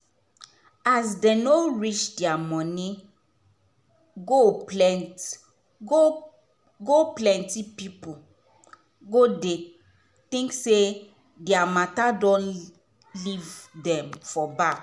as dem no reach dia money goal plenty go plenty pipu go dey think say dia matter don leave dem for back.